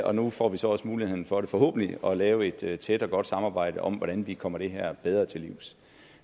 og nu får vi så også muligheden for forhåbentlig at lave et tæt tæt og godt samarbejde om hvordan vi kommer det her bedre til livs